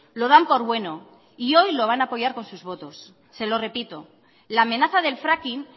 lo dan por bueno y hoy lo van a apoyar con sus votos se lo repito la amenaza del fracking